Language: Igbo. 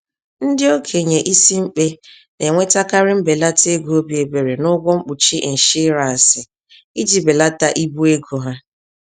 Ndị okenye ísì-mkpe na enwetakarị mbelata-ego obi-ebere n'ụgwọ mkpuchi ịnshiransị, iji belata ibu ego ha.